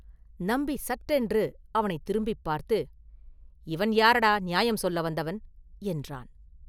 நம்பி சட்டென்று அவனைத் திரும்பிப் பார்த்து, “இவன் யாரடா நியாயம் சொல்ல வந்தவன்!” என்றான்.